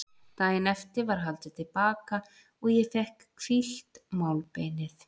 Daginn eftir var haldið til baka og ég fékk hvílt málbeinið.